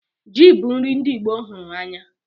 Ji bu nri ndi Igbo hụrụ anya